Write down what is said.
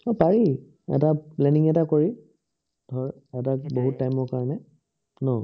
আহ পাৰি, এটা planning এটা কৰি, ধৰ এটা হেৰি time ৰ কাৰনে ন